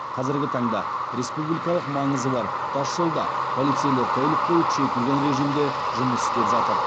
қазіргі таңда республикалық маңызы бар тасжолда полицейлер тәулік бойы күшейтілген режимде жұмыс істеп жатыр